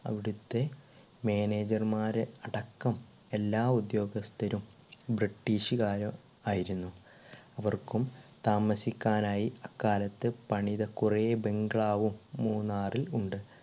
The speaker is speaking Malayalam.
അവിടത്തെ manager മാര് അടക്കം എല്ലാ ഉദ്യോഗസ്ഥരും british കാർ ആയിരുന്നു അവർക്കും താമസിക്കാൻ ആയി അക്കാലത്ത് പണിത കുറെ bungalow വും മൂന്നാറിൽ ഉണ്ട്